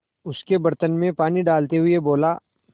उसके बर्तन में पानी डालते हुए बोला